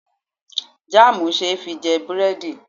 Jam see fi je buredi